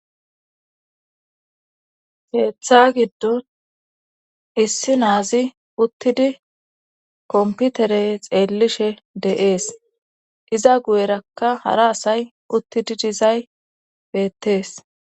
Heeththa giddon issi naazi uttidi komputere xeellishe de'ees iza guyerakka hara asay uttidi dizay beettees.